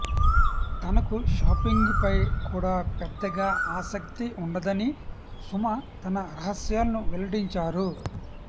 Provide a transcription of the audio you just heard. తనకు షాపింగ్ పై కూడా పెద్దగా ఆసక్తి ఉండదని సుమ తన రహస్యాలను వెల్లడించారు